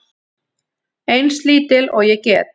Eins lítil og ég get.